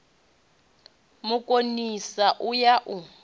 mu konisa u ya u